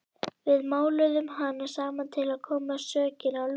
Við máluðum hana saman til að koma sökinni á Lúnu.